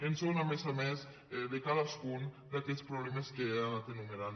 ho són a més a més de cadascun d’aquests problemes que he anat enumerant